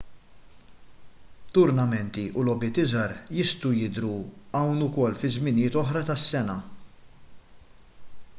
turnamenti u logħbiet iżgħar jistgħu jidhru hawn ukoll fi żminijiet oħra tas-sena